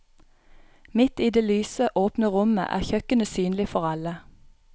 Midt i det lyse, åpne rommet er kjøkkenet synlig for alle.